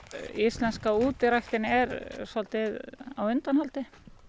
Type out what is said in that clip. íslenska er á undanhaldi